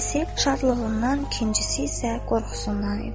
Birisi şadlığından, ikincisi isə qorxusundan idi.